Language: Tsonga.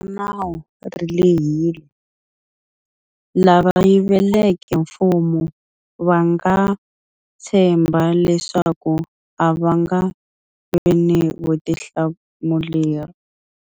Ra nawu ri lehile. Lava yiveleke mfumo va nga tshemba leswaku a va nga vi ni vutihlamuleri.